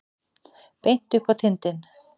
Beint upp á tindinn.